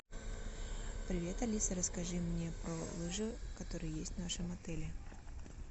привет алиса расскажи мне про лыжи которые есть в нашем отеле